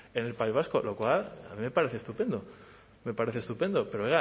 en el país vasco lo cual a mí me parece estupendo me parece estupendo pero oiga